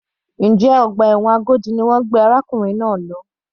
Njẹ́ ọgbà ẹ̀wọ̀n Agodi ni wọ́n gbé arákùnrin náà lọ?